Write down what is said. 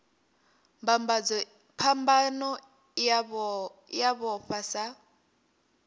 phambano i a vhofha sa